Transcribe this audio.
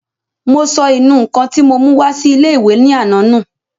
Mo sọ ìnù-ǹkan tí mo mú wá sí ilé-ìwé ní àná nù